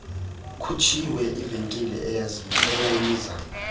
kutshiswe ivenkile eyayiza